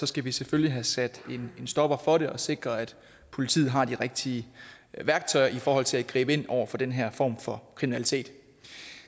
skal vi selvfølgelig have sat en stopper for det og sikret at politiet har de rigtige værktøjer i forhold til at gribe ind over for den her form for kriminalitet